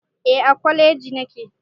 Eh a kwaleji nake